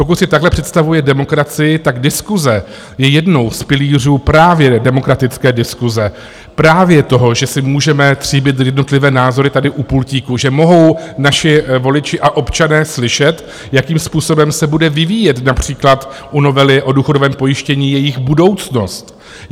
Pokud si takhle představuje demokracii, tak diskuse je jedním z pilířů právě demokratické diskuse, právě toho, že si můžeme tříbit jednotlivé názory tady u pultíku, že mohou naši voliči a občané slyšet, jakým způsobem se bude vyvíjet, například u novely o důchodovém pojištění, jejich budoucnost.